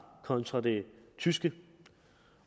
kontra det tyske